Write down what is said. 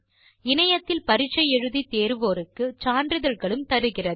இணையத்தில் பரிட்சை எழுதி தேர்வோருக்கு சான்றிதழ்களும் தருகிறது